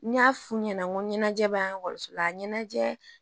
N y'a f'u ɲɛna n ko ɲɛnajɛ b'ansola a ɲɛnajɛ